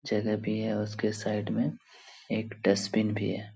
जगह भी है उसके साइड में एक डस्टबिन भी है ।